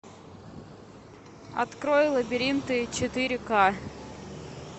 открой лабиринты четыре ка